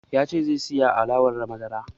Ya ce zai saya alewar madara